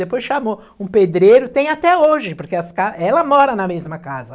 Depois chamou um pedreiro, tem até hoje, porque essa ca ela mora na mesma casa.